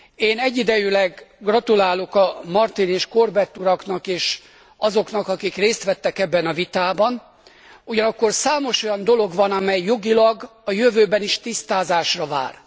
Én egyidejűleg gratulálok Martin és Corbett uraknak és azoknak, akik részt vettek ebben a vitában, ugyanakkor számos olyan dolog van, amely jogilag a jövőben is tisztázásra vár.